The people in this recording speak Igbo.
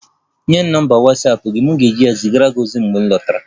Nye m nọmba Watsapụ gị, m ga-ezigara gị ozi mgbe m lọtara